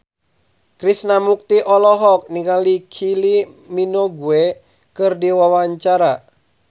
Krishna Mukti olohok ningali Kylie Minogue keur diwawancara